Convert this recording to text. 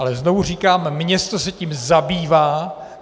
Ale znovu říkám, město se tím zabývá.